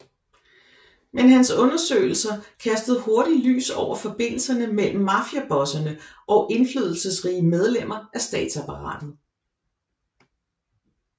Men hans undersøgelser kastede hurtig lys over forbindelserne mellem mafiabosserne og indflydelsesrige medlemmer af statsapparatet